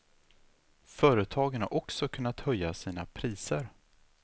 Företagen har också kunnat höja sina priser.